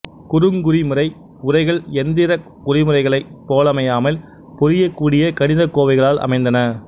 குறுங்குறிமுறை உரைகள் எந்திரக் குறிமுறைகளைப் போலமையாமல் புரியக்கூடிய கணிதக்கோவைகளால் அமைந்தன